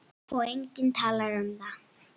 Og enginn talar um það!